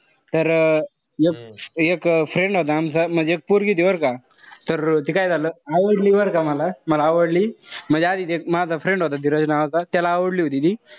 तर एक friend होता आमचा. म्हणजे एक पोरगी होती बरं का. तर ते काय झालं. आवडली बरं का मला. मला आवडली. म्हणजे आधी ते माझा friend होता ते रजत नावाचा. त्याला आवडली होती ती.